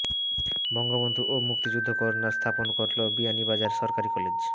বঙ্গবন্ধু ও মুক্তিযুদ্ধ কর্ণার স্থাপন করলো বিয়ানীবাজার সরকারি কলেজ